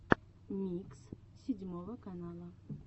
микс седьмого канала